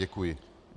Děkuji.